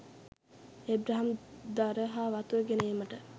Abraham දර හා වතුර ගෙන ඒමට